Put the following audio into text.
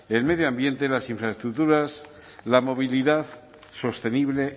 el medio ambiente las infraestructuras la movilidad sostenible